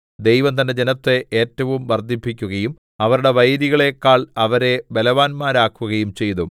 ദൈവം തന്റെ ജനത്തെ ഏറ്റവും വർദ്ധിപ്പിക്കുകയും അവരുടെ വൈരികളെക്കാൾ അവരെ ബലവാന്മാരാക്കുകയും ചെയ്തു